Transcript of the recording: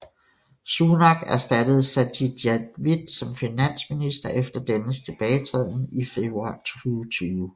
Sunak erstattede Sajid Javid som finansminister efter dennes tilbagetræden i februar 2020